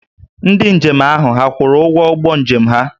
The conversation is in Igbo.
Ndị njem ahụ hà kwụrụ ụgwọ ụgbọ njem ha?